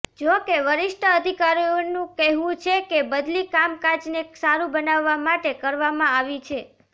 જો કે વરિષ્ઠ અધિકારીઓનું કહેવું છે કે બદલી કામકાજને સારું બનાવવા માટે કરવામાં આવી છે